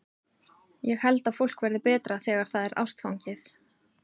Ég held að fólk verði betra þegar það er ástfangið.